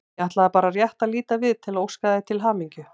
Ég ætlaði bara rétt að líta við til þess að óska þér til hamingju.